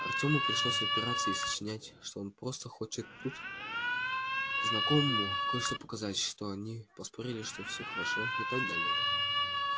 артёму пришлось отпираться и сочинять что он просто хочет тут знакомому кое-что показать что они поспорили что все хорошо и так далее